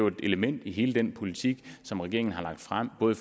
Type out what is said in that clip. et element i hele den politik som regeringen har lagt frem både